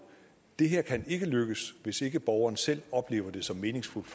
det her kan ikke lykkes hvis ikke borgeren selv oplever det som meningsfuldt